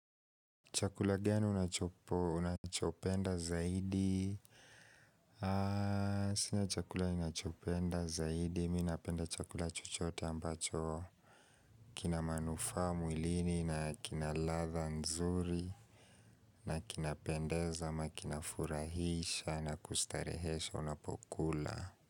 Chakula gani unachopo unachopenda zaidi Sina chakula ninachopenda zaidi Mimi napenda chakula chochote ambacho kina manufaa mwilini na kina ladha nzuri na kinapendeza ama kinafurahisha na kustarehesha unapo kula.